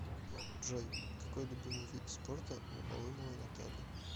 джой какой любимый вид спорта у алымовой натальи